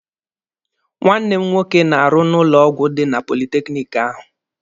Nwanne m nwoke na-arụ n'ụlọ ọgwụ dị na politekiniki ahụ.